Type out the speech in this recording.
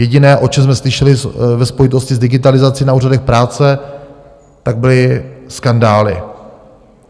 Jediné, o čem jsme slyšeli ve spojitosti s digitalizaci na úřadech práce, tak byly skandály.